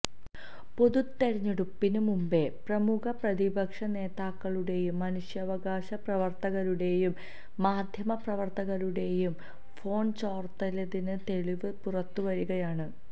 പൊതു തെരെഞ്ഞെടുപ്പിന് മുമ്പേ പ്രമുഖ പ്രതിപക്ഷ നേതാക്കളുടേയും മനുഷ്യാവകാശ പ്രവര്ത്തകരുടെയും മാധ്യമ പ്രവര്ത്തകരുടേയും ഫോണ് ചോര്ത്തിയതിന് തെളിവ് പുറത്തു വരികയാണ്